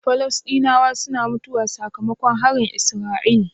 Falastinawa suna mutuwa saka makon harin isra'ila?